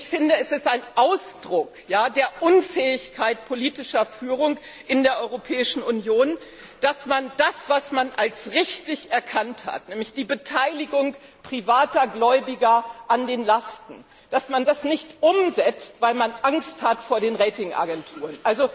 Ich finde, es ist ein Ausdruck der Unfähigkeit politischer Führung in der Europäischen Union, dass man das, was man als richtig erkannt hat, nämlich die Beteiligung privater Gläubiger an den Lasten, dass man das nicht umsetzt, weil man Angst hat vor den Ratingagenturen.